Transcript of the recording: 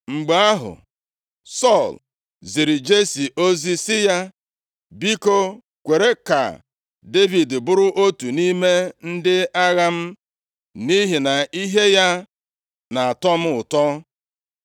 Mgbe ahụ, Sọl ziri Jesi ozi sị ya, “Biko, kwere ka Devid bụrụ otu nʼime ndị agha m, nʼihi na ihe ya na-atọ m ụtọ.”